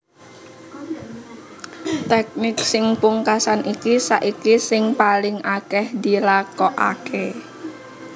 Tèknik sing pungkasan iki saiki sing paling akèh dilakokaké